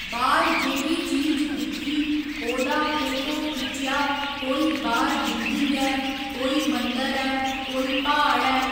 बाह्‌र जेह्ड़ी चीज दिक्खी ओह्दा फोटो खिच्चेआ कोई बाहर बिल्डिंग ऐ कोई मंदर ऐ कोई प्हाड़ ऐ